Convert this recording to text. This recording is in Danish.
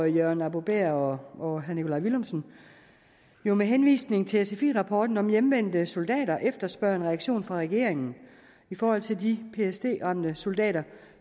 jørgen arbo bæhr og herre nikolaj villumsen med med henvisning til sfi rapporten om hjemvendte soldater efterspørger en reaktion fra regeringen i forhold til de ptsd ramte soldater